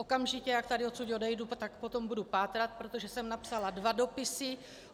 Okamžitě, jak tady odsud odejdu, tak po tom budu pátrat, protože jsem napsala dva dopisy.